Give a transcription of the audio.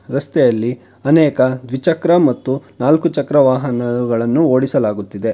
ರಸ್ತೆಯಲ್ಲಿ ಅನೇಕ ದ್ವಿಚಕ್ರ ಮತ್ತು ನಾಲ್ಕು ಚಕ್ರ ವಾಹನಗಳನ್ನು ಓಡಿಸಲಾಗುತ್ತಿದೆ.